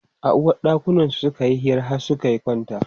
A uwaɗɗakansu suka yi hira har suka kwanta.